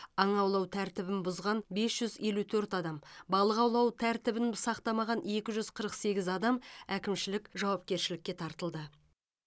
аң аулау тәртібін бұзған бес жүз елу төрт адам балық аулау тәртібін сақтамаған екі жүз қырық сегіз адам әкімшілік жауапкершілікке тартылды